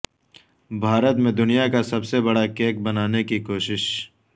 بھارت میں دنیا کا سب سے بڑا کیک بنانے کی کوشش